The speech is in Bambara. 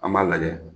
An b'a lajɛ